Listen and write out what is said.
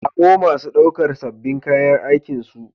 Samo masu ɗaukar sabbin kayan aikinsu